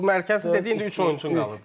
O mərkəzi dedi, indi üç oyunçu qalıb.